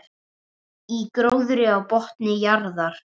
Í gróðri á botni jarðar.